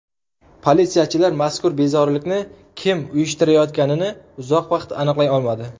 Politsiyachilar mazkur bezorilikni kim uyushtirayotganini uzoq vaqt aniqlay olmadi.